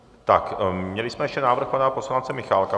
Tak měli jsme ještě návrh pana poslance Michálka.